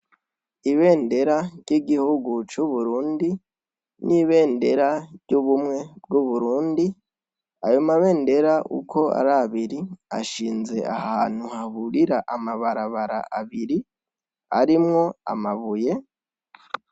Ibendera ry'Igihugu c'Uburundi n'ibendera ry'ubumwe bw'abarundi ayomabendera uko arabiri ashinze ahantu hahurira amabarabara abiri harimwo amabuye.